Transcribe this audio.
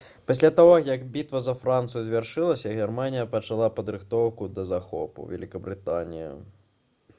пасля таго як бітва за францыю завяршылася германія пачала падрыхтоўку да захопу вялікабрытаніі